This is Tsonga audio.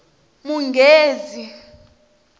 munghezi